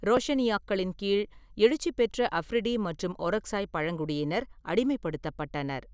ரோஷனிய்யாக்களின் கீழ் எழுச்சி பெற்ற அப்ரிடி மற்றும் ஒரக்சாய் பழங்குடியினர் அடிமைப்படுத்தப்பட்டனர்.